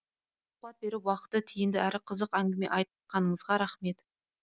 сұқбат беріп уақытты тиіміді әрі қызық әңгіме айтқаныңызға рақмет